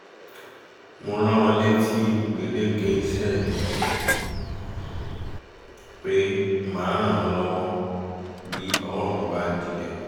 mo rán wọn létí gbèdéke iṣẹ́ mi pé màá ràn wọ́n lọ́wọ́ bí ọwọ́ mi bá dilẹ̀